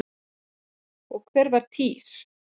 Og hver var Týr?